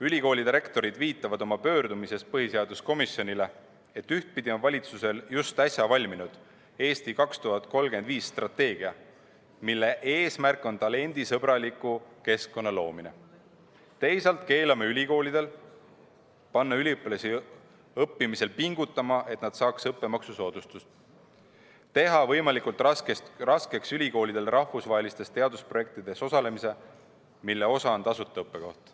Ülikoolide rektorid viitavad oma pöördumises põhiseaduskomisjonile, et ühtpidi on valitsusel just äsja valminud "Eesti 2035" strateegia, mille eesmärk on talendisõbraliku keskkonna loomine, teisalt keelame ülikoolidel panna üliõpilasi õppimisel pingutama, et nad saaks õppemaksusoodustust, teeme ülikoolidele võimalikult raskeks rahvusvahelistes teadusprojektides osalemise, mille osa on tasuta õppekoht.